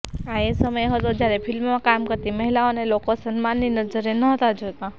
આ એ સમય હતો જ્યારે ફિલ્મમાં કામ કરતી મહિલાઓને લોકો સન્માનની નજરે નહતા જોતા